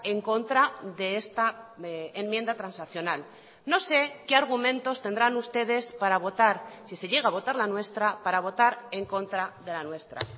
en contra de esta enmienda transaccional no sé qué argumentos tendrán ustedes para votar si se llega a votar la nuestra para votar en contra de la nuestra